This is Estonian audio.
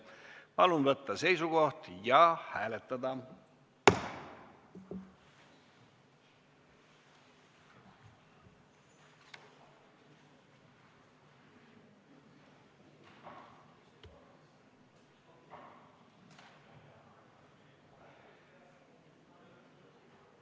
Palun võtta seisukoht ja hääletada!